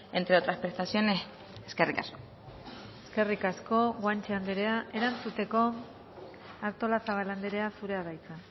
entre otras prestaciones eskerrik asko eskerrik asko guanche andrea erantzuteko artolazabal andrea zurea da hitza